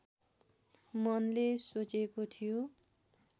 मनले सोचेको थियो